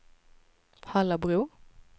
Hallabro